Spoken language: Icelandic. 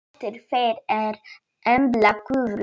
Dóttir þeirra er Embla Guðrún.